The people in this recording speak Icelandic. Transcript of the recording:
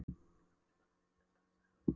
Þú gerir bara þitt besta sagði Hafliði.